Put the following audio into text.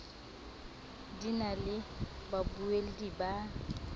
di na le babuelli ba